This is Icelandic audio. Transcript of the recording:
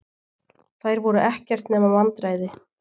Þær voru ekkert nema vandræði.